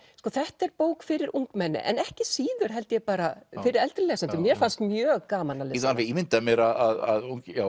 þetta er bók fyrir ungmenni en ekki síður held ég bara fyrir eldri lesendur mér fannst mjög gaman að lesa alveg ímyndað mér að